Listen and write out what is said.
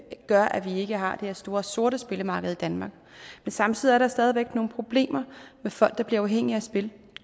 gør at vi ikke har det her store sorte spillemarked i danmark men samtidig er der nogle problemer med folk der bliver afhængige af spil